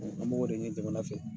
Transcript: An b' ko de ɲini jamana fɛ